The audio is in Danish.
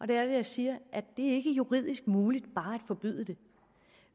det jeg siger at det ikke er juridisk muligt bare at forbyde det